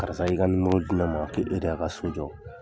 Karisa y'i ka di ne ma k'e de y'a ka so jɔ.